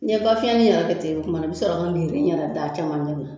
N ye bɔ fiyɛn min yira ka tɛmɛ o tumana a bɛ sɔrɔ ka ɲɛna da caman